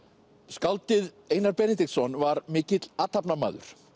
skáldið Einar Benediktsson var mikill athafnamaður